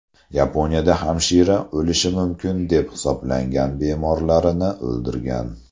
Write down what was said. Yaponiyada hamshira o‘lishi mumkin deb hisoblagan bemorlarini o‘ldirgan.